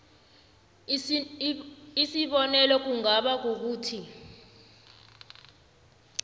isibonelo kungaba kukuthi